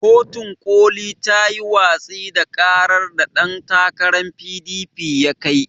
Kotun ƙoli tayi watsi da ƙarar da ɗan takaran PDP ya kai.